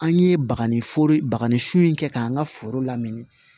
An ye baga ni fure sun in kɛ an ka foro lamini